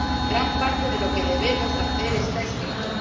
Gran parte de lo que debemos hacer está escrito.